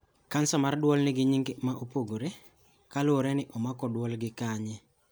Cancer mar duol nigi nyinge ma opogore, ka luwore ni omako duol gi kanye